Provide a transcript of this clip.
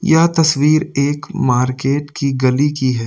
यह तस्वीर एक मार्केट की गली की है।